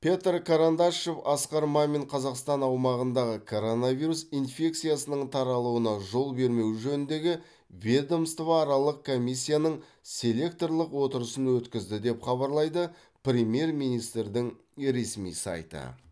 петр карандашов асқар мамин қазақстан аумағында коронавирус инфекциясының таралуына жол бермеу жөніндегі ведомствоаралық комиссияның селекторлық отырысын өткізді деп хабарлайды премьер министрдің ресми сайты